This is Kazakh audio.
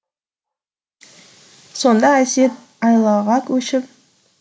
сонда әсет айлаға көшіп